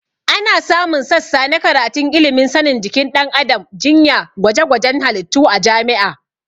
Ana samun sassa na karatun ilimin sanin jikin ɗan adam, jinya, gwajegwajen halittu a jami'a